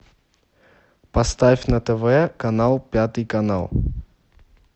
поставь на тв канал пятый канал